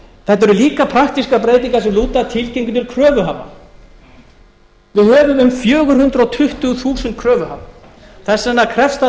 þetta eru líka praktískar breytingar sem lúta að tilkynningu til kröfuhafa við höfum um fjögur hundruð tuttugu þúsund kröfuhafa þess vegna krefst það